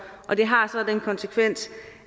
og det har så den konsekvens